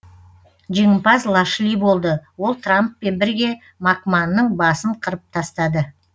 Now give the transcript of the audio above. жеңімпаз лашли болды ол трамппен бірге макманның басын қырып тастады